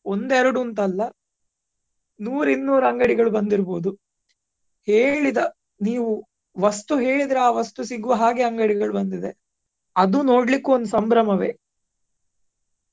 ಒಂದೆರಡು ಅಂತಲ್ಲ ನೂರ್ ಇನ್ನೂರ್ ಅಂಗಡಿಗಳು ಬಂದಿರ್ಬೋದು ಹೇಳಿದ ನೀವು ವಸ್ತು ಹೇಳಿದರೆ ಆ ವಸ್ತು ಸಿಗುವ ಹಾಗೆ ಅಂಗಡಿಗಳು ಬಂದಿದೆ ಅದು ನೋಡ್ಲಿಕ್ಕೂ ಒಂದು ಸಂಭ್ರಮವೇ.